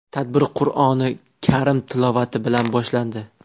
Tadbir Qur’oni karim tilovati bilan boshlandi.